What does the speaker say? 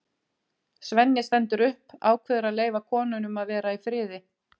Svenni stendur upp, ákveður að leyfa konunum að vera í friði.